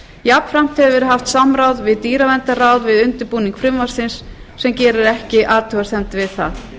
jafnframt hefur verið haft samráð við dýraverndarráð við undirbúning frumvarpsins sem gerir ekki athugasemd við það